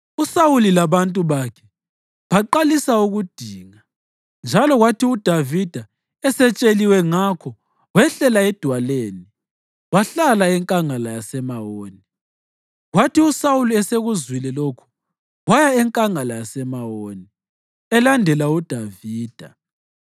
USawuli labantu bakhe baqalisa ukudinga, njalo kwathi uDavida esetsheliwe ngakho wehlela edwaleni wahlala eNkangala yaseMawoni. Kwathi uSawuli esekuzwile lokhu, waya eNkangala yaseMawoni elandela uDavida.